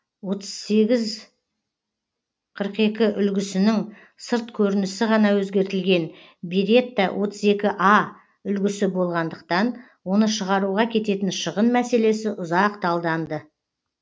отыз сегіз қырық екі үлгісінің сырт көрінісі ғана өзгертілген беретта отыз екі а үлгісі болғандықтан оны шығаруға кететін шығын мәселесі ұзақ талданды